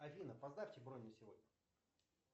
афина поставьте бронь на сегодня